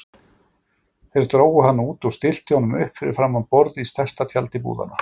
Þeir drógu hann út og stilltu honum upp fyrir framan borð í stærsta tjaldi búðanna.